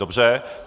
Dobře.